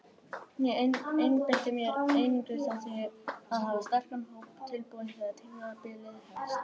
Ég einbeiti mér einungis að því að hafa sterkan hóp tilbúinn þegar tímabilið hefst.